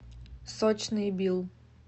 сочный билл